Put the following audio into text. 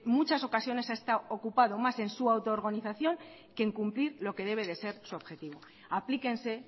muchas ocasiones ha estado ocupado más en su autorganización que en cumplir lo que debe de ser su objetivo aplíquense